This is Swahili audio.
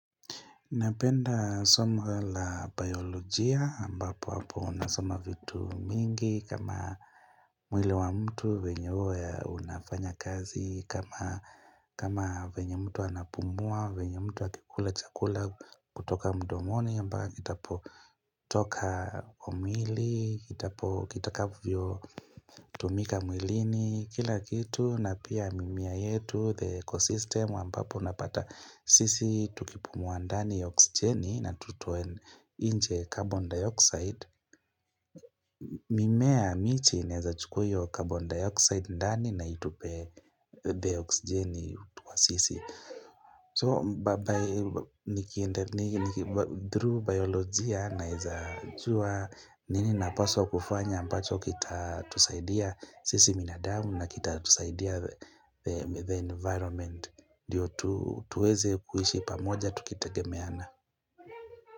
Napenda somo la biolojia, ambapo hapo nasoma vitu mingi, kama mwili wa mtu, vyenye huwa ya unafanya kazi, kama vvenye mtu anapumua, vyenye mtu akikula chakula kutoka mdomoni, ambayo kitapo toka kwa mwili, kitapo kitakavyo tumika mwilini, kila kitu. Na pia mimea yetu the ecosystem ambapo unapata sisi tukipumuwa ndani oxigeni na tutoe nje carbon dioxide mimea miti inaweza chukua hiyo carbon dioxide ndani na itupe the oxigeni kwa sisi so babai niki niki through biolojia naezajua nini napaswa kufanya ambacho kita tusaidia sisi binadamu na kita tusaidia the environment ndiyo tuweze kuishi pamoja tukitegemeana.